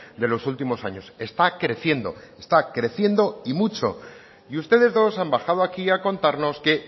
de los últimos años está creciendo está creciendo y mucho y ustedes dos han bajado aquí a contarnos que